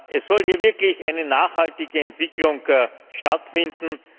Es soll hier wirklich eine nachhaltige Entwicklung stattfinden.